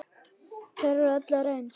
Þær eru allar eins.